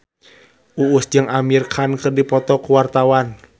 Uus jeung Amir Khan keur dipoto ku wartawan